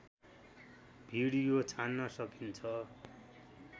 video छान्न सकिन्छ